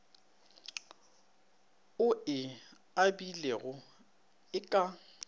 o e abilego e ka